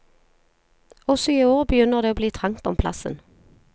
Også i år begynner det å bli trangt om plassen.